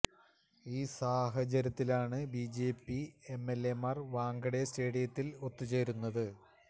ഈ സാഹചര്യത്തിലാണ് B J P M L എമാർ വാങ്കഡെ സ്റ്റേഡിയത്തിൽ ഒത്തു ചേരുന്നത്